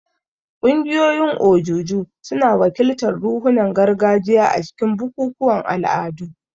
Ƙungiyoyin ojuju suna wakiltar ruhunan gargajiya a cikin bukukuwan al'adu.